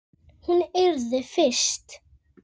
Hún yrði fyrst.